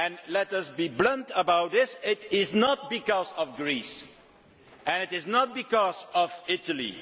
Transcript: Let us be blunt about this, it is not because of Greece and it is not because of Italy.